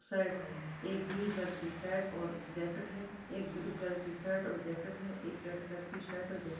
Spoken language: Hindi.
शर्ट है एक ग्रीन कलर की शर्ट और जैकेट है एक ब्लू कलर की शर्ट और जैकेट है एक रेड कलर की शर्ट और जैक --